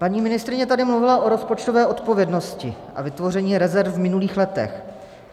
Paní ministryně tady mluvila o rozpočtové odpovědnosti a vytvoření rezerv v minulých letech.